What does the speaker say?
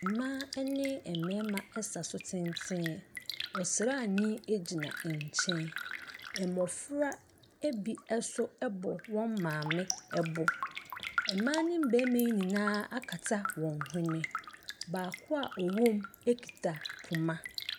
Mmaa ne mmarimasa so tenten. Ɔsraani gyina nkyɛn. Mmɔfra bi nso bɔ wɔn maame bo. Mmaa no mmarima yi nyinaa akata wɔn hwene. Baako a ɔwɔ mu kita poma.